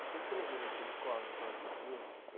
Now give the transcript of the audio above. Você se lembra da sua escola, em qual você estudou?